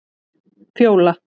Fjóla